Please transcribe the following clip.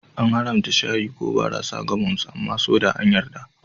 An haramta shayi, kofi, ko barasa ga Mormons amma soda an yarda.